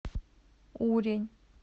урень